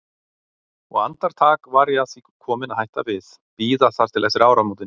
Og andartak var ég að því komin að hætta við, bíða þar til eftir áramótin.